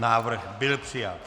Návrh byl přijat.